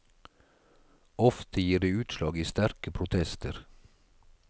Ofte gir det utslag i sterke protester.